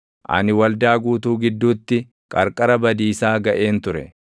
Ani waldaa guutuu gidduutti qarqara badiisaa gaʼeen ture.”